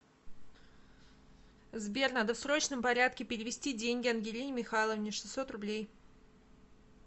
сбер надо в срочном порядке перевести деньги ангелине михайловне шестьсот рублей